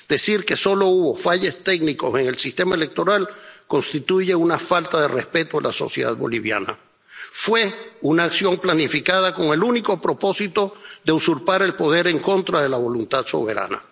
Decir que solo hubo fallos técnicos en el sistema electoral constituye una falta de respeto a la sociedad boliviana fue una acción planificada con el único propósito de usurpar el poder en contra de la voluntad soberana.